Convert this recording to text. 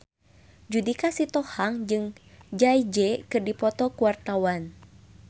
Judika Sitohang jeung Jay Z keur dipoto ku wartawan